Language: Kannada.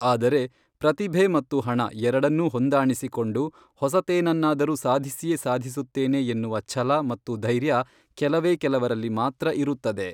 ಆದರೆ ಪ್ರತಿಭೆ ಮತ್ತು ಹಣ ಎರಡನ್ನೂ ಹೊಂದಾಣಿಸಿಕೊಂಡು ಹೊಸತೇನನ್ನಾದರೂ ಸಾಧಿಸಿಯೇ ಸಾಧಿಸುತ್ತೇನೆ ಎನ್ನುವ ಛಲ ಮತ್ತು ಧೈರ್ಯ ಕೆಲವೇ ಕೆಲವರಲ್ಲಿ ಮಾತ್ರ ಇರುತ್ತದೆ.